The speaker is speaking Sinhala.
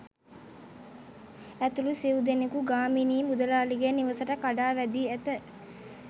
ඇතුළු සිව්දෙනකු ගාමිණී මුදලාලිගේ නිවසට කඩා වැදී ඇත.